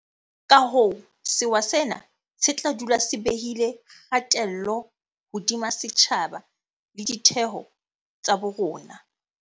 Ka hoo sewa sena se tla dula se behile kgatello hodima setjhaba le ditheo tsa bo rona.